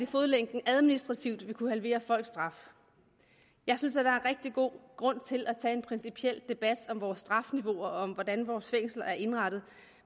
fodlænke administrativt kunne halvere folks straf jeg synes at der er rigtig god grund til at tage en principiel debat om vores strafniveauer og om hvordan vores fængsler er indrettet